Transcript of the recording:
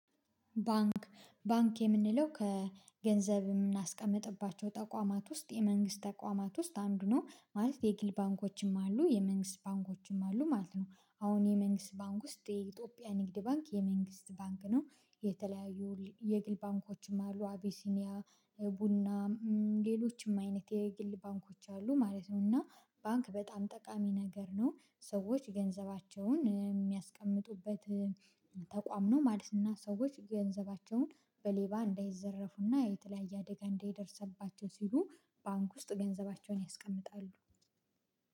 ባንክ ባንክ የምንለው ከገንዘብ የምናስቀምጥባቸው ተቋማት ውስጥ የመንግስት ተቋማት ውስጥ አንዱ ነው ማለት የግል ባንኮችም አሉ የመንግስት ባንኮችም አሉ ማለት ነው። አሁን የመንግስት ባንክ ውስጥ የኢትዮጵያ ንግድ ባንክ የመንግስት ባንክ ነው። የተለያዩ የግል ባንኮችም አሉ አቢሲኒያ ቡና ሌሎችም አይነት የግል ባንኮች አሉ ማለት ነው። እና ባንክ በጣም ጠቃሚ ነገር ነው። ሰዎች ገንዘባቸውን የሚያስቀምጡበት ተቋም ነው። ማለትና ሰዎች ገንዘባቸውን በሌባ እንዳይዘረፉና የተለያየ አደጋ እንዳይደርስባቸው ሲሉ ባንክ ውስጥ ገንዘባቸውን ያስቀምጣሉ።